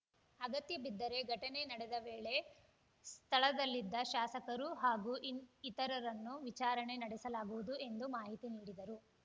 ಅಗತ್ಯಬಿದ್ದರೆ ಘಟನೆ ನಡೆದ ವೇಳೆ ಸ್ಥಳದಲ್ಲಿದ್ದ ಶಾಸಕರು ಹಾಗೂ ಇತರರನ್ನು ವಿಚಾರಣೆ ನಡೆಸಲಾಗುವುದು ಎಂದು ಮಾಹಿತಿ ನೀಡಿದರು